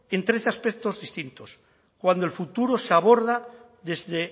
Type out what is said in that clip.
en tres aspectos distintos cuando el futuro se aborda desde